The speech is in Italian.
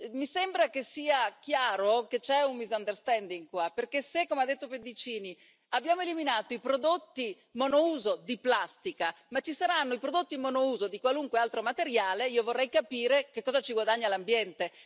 Mi sembra che sia chiaro che qui ci sia un equivoco perché se, come ha detto Pedicini, abbiamo eliminato i prodotti monouso di plastica ma ci saranno i prodotti monouso di qualunque altro materiale, io vorrei capire che cosa ci guadagna l'ambiente.